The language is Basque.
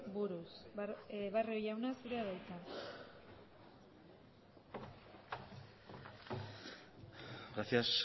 buruz barrio jauna zurea da hitza gracias